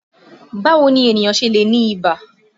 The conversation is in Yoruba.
Báwo ni ènìyàn ṣe lè ní ìbà?